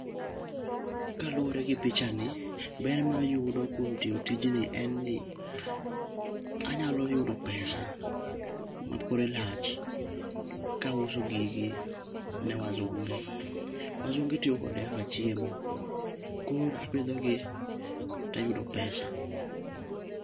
Kaluwore gi pichani, ber mayudo kuom tiyo tijni en ni anyalo yudo pesa ma kore lach kauso gigi ne wazunge. Wazunge tiyo kode kaka chiemo, koro apidho gi tayudo pesa.